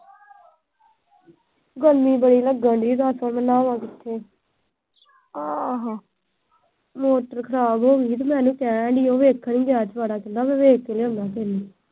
ਗਈ ਨਾ ਦੱਸ ਨਹਾਵਾਂ ਕਿੱਥੇ ਮੋਟਰ ਖਰਾਬ ਹੋਗੀ ਤੇ ਮੈਂ ਉਹਨੂੰ ਕਹਿਣ ਡਈ, ਉਹ ਵੇਖਣ ਲੱਗਿਆ ਆਲਾ-ਦੁਆਲਾ, ਕਹਿੰਦਾ ਮੈਂ ਦੇਖ ਕੇ ਲਿਆਉਣਾ।